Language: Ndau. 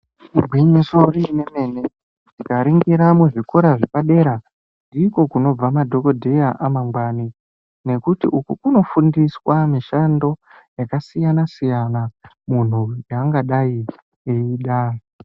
Igwinyiso iri remene taringira zvikoro zvepadera ndiko kunobva madhokodheya amangwani nekuti uku kunofundisa mishando takasiyana siyana munthu yaangadai eida.